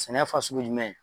Sɛnɛ fasugu jumɛn?